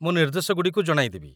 ମୁଁ ନିର୍ଦ୍ଦେଶଗୁଡ଼ିକୁ ଜଣାଇଦେବି